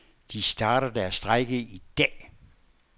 De starter deres strejke i dag.